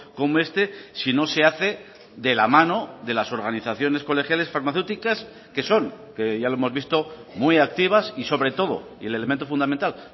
como este si no se hace de la mano de las organizaciones colegiales farmacéuticas que son que ya lo hemos visto muy activas y sobre todo y el elemento fundamental